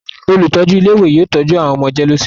Olùtọ́jú ilé-ìwé yóò tọ́jú àwọn ọmọ jẹ́léósinmi.